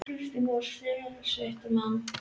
Kristján Már: Sérsveitarmenn?